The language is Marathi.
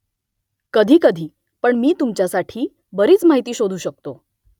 कधीकधी पण मी तुमच्यासाठी बरीच माहिती शोधू शकतो